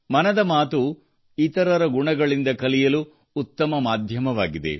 ಮನದ ಮಾತು ಇತರರ ಗುಣಗಳಿಂದ ಕಲಿಯಲು ಉತ್ತಮ ಮಾಧ್ಯಮವಾಗಿದೆ